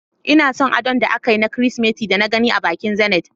Ina son adon da akayi na kirismeti da na gane a bankin Zenith.